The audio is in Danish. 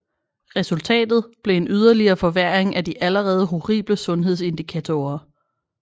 Resultatet blev en yderligere forværring af de allerede horrible sundhedsindikatorer